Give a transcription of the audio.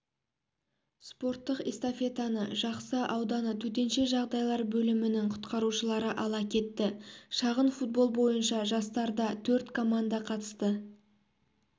спорттық эстафетаны жақсы ауданы төтенше жағдайлар бөлімінің құтқарушылары ала кетті шағын-футбол бойынша жарыстарда төрт команда қатысты